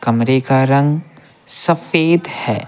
कमरे का रंग सफेद है।